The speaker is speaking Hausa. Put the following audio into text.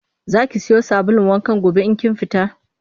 Za ki siyo sabulun wankan gobe in kin fita?